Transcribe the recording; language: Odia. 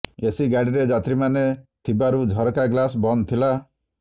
ଏସି ଗାଡ଼ିରେ ଯାତ୍ରୀମାନେ ଥିବାରୁ ଝରକା ଗ୍ଲାସ ବନ୍ଦ ଥିଲା